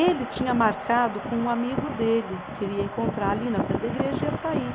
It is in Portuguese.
Ele tinha marcado com um amigo dele, que ele ia encontrar ali na frente da igreja e ia sair.